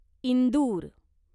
Indore